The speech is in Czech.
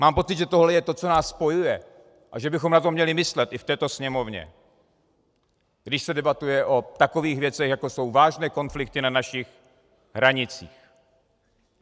Mám pocit, že tohle je to, co nás spojuje, a že bychom na to měli myslet i v této Sněmovně, když se debatuje o takových věcech, jako jsou vážné konflikty na našich hranicích.